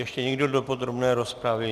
Ještě někdo do podrobné rozpravy?